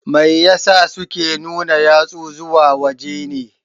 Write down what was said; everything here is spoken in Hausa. Mai ya sa suke nuna yatsu zuwa waje ne?